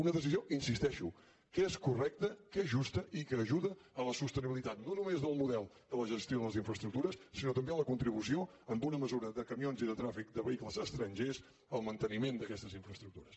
una decisió hi insisteixo que és correcta que és justa i que ajuda no només a la sostenibilitat del model de gestió de les infraestructures sinó també a la contribució en bona mesura de camions i de trànsit de vehicles estrangers al manteniment d’aquestes infraestructures